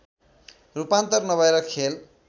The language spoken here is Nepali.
रूपान्तर नभएर खेल